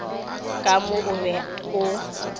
ka mo o be o